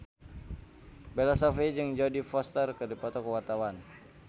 Bella Shofie jeung Jodie Foster keur dipoto ku wartawan